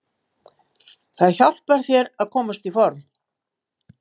Það hjálpar þér að komast í form.